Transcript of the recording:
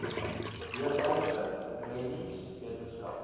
leefwyse rennies wetenskap